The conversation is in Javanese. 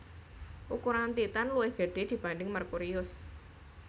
Ukuran Titan luwih gede dibanding Merkurius